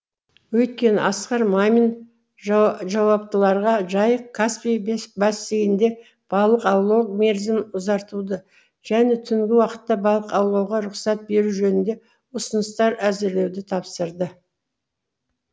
өйткені асқар мамин жауаптыларға жайық каспий бассейнінде балық аулау мерзімін ұзартуды және түнгі уақытта балық аулауға рұқсат беру жөнінде ұсыныстар әзірлеуді тапсырды